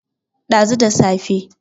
dazu da safe